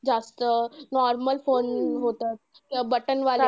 जास्त normal phone होतं. ते button वाले